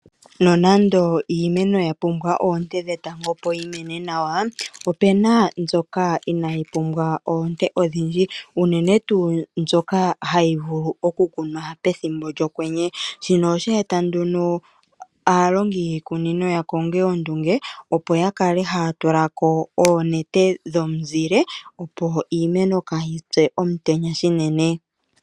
Nonando iimeno ya pumbwa oonte dhetango opo yi mene nawa, opena mbyoka inayi pumbwa oonte odhindji. Unene tuu mbyoka hayi vulu okukunwa pethimbo lyokwenye. Shino osha eta nduno aalongi yiikunino ya konge ondunge opo ya kale haya tula ko oonete dhomuzile, opo iimeno kaayi pye omutenya shinene.